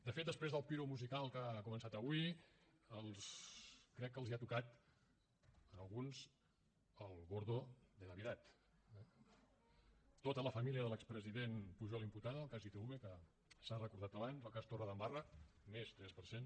de fet després del piromusical que ha començat avui crec que els hi ha tocat en alguns el gordo de navidad eh tota la família de l’expresident pujol imputada el cas itv que s’ha recordat abans el cas torredembarra més tres per cent